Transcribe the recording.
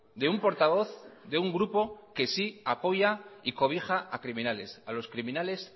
de un portavoz de un grupo que sí apoya y cobija a criminales a los criminales